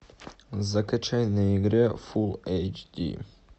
закачай на игре фулл эйч ди